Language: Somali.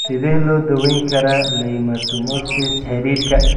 Sidee loo daweyn karaa leiomyomatosis xididka?